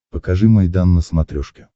покажи майдан на смотрешке